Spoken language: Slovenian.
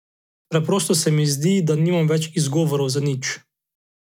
Preprosto se mi zdi, da nimam več izgovorov za nič.